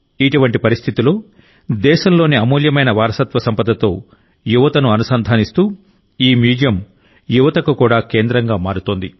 ఇటువంటి పరిస్థితిలోదేశంలోని అమూల్యమైన వారసత్వ సంపదతో యువతను అనుసంధానిస్తూ ఈ మ్యూజియం యువతకు కూడా కేంద్రంగా మారుతోంది